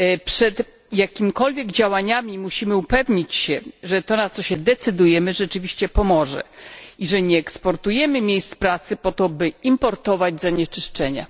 Przed jakimikolwiek działaniami musimy upewnić się, że to, na co się decydujemy, rzeczywiście pomoże i że nie eksportujemy miejsc pracy po to, by importować zanieczyszczenia.